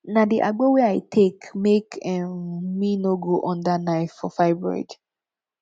na di agbo wey i take make um me no go under knife for fibroid